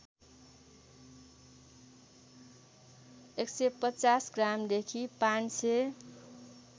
१५० ग्रामदेखि ५००